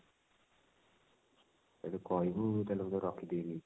ଯଦି କହିବୁ ତାହେଲେ ମୁଁ ତାକୁ ରଖିଦେବି ନେଇକି